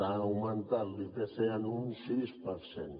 ha augmentat l’ipc en un sis per cent